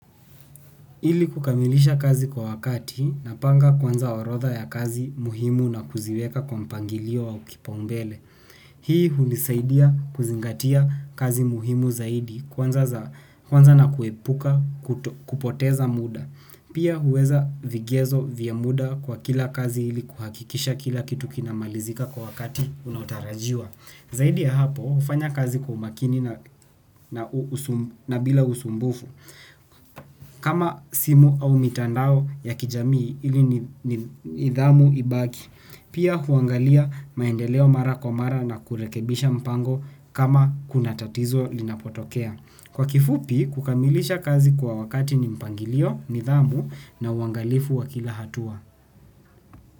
Ili kukamilisha kazi kwa wakati, napanga kwanza orodha ya kazi muhimu na kuziweka kwa mpangilio au kipaumbele. Hii hunisaidia kuzingatia kazi muhimu zaidi kwanza na kuepuka kupoteza muda. Pia huweka vigezo vya muda kwa kila kazi ili kuhakikisha kila kitu kinamalizika kwa wakati unaotarajiwa. Zaidi ya hapo hufanya kazi kwa umakini na bila usumbufu. Kama simu au mitandao ya kijamii ili nidhamu ibaki. Pia huangalia maendeleo mara kwa mara na kurekebisha mpango kama kuna tatizo linapotokea. Kwa kifupi, kukamilisha kazi kwa wakati ni mpangilio, nidhamu na uangalifu wa kila hatua.